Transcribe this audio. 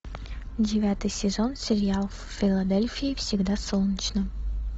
девятый сезон сериал в филадельфии всегда солнечно